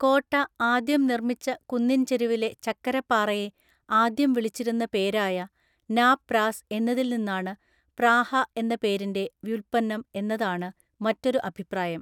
കോട്ട ആദ്യം നിർമ്മിച്ച കുന്നിൻ ചെരുവിലെ ചക്കരപ്പാറയെ ആദ്യം വിളിച്ചിരുന്ന പേരായ നാ പ്രാസ് എന്നതിൽനിന്നാണ് പ്രാഹ എന്ന പേരിൻെ വ്യുൽപന്നം എന്നതാണ് മറ്റൊരു അഭിപ്രായം.